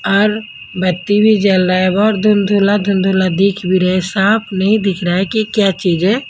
और बत्ती भी जल रहा है और धुंधुला-धुंधुला दिख भी रहे है साफ नहीं दिख रहा है कि क्या चीज है।